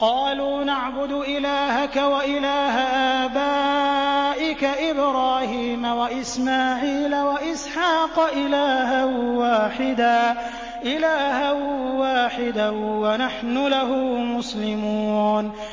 قَالُوا نَعْبُدُ إِلَٰهَكَ وَإِلَٰهَ آبَائِكَ إِبْرَاهِيمَ وَإِسْمَاعِيلَ وَإِسْحَاقَ إِلَٰهًا وَاحِدًا وَنَحْنُ لَهُ مُسْلِمُونَ